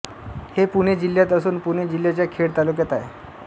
हे पुणे जिल्ह्यात असून पुणे जिल्ह्याच्या खेड तालुक्यात आहे